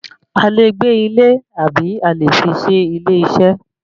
A lè gbé ilé àbí a lè fi se ilé iṣẹ́.